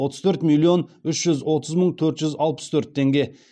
отыз төрт миллион үш жүз отыз мың төрт жүз алпыс төрт теңге